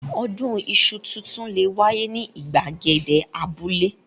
Odun iṣu tuntun le wáyé ní ìgbàgede abúlé.